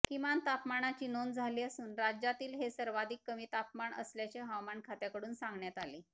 किमान तापमानाची नोंद झाली असून राज्यातील हे सर्वाधिक कमी तापमान असल्याचे हवामान खात्याकडून सांगण्यात आले